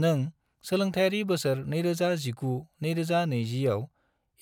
नों सोलोंथायारि बोसोर 2019 - 2020 आव